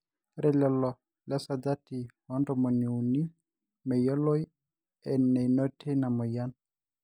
ore lelo lesajati oo ntomoni uni meyioloi eneinotie ina moyian